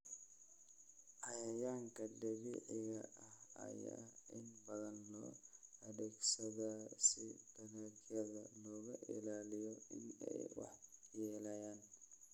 Cayayaanka dabiiciga ah ayaa inta badan loo adeegsadaa si dalagyada looga ilaaliyo in ay waxyeeleeyaan.